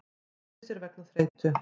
Flýtti sér vegna þreytu